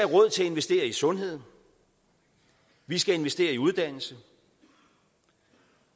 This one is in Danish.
råd til at investere i sundhed vi skal investere i uddannelse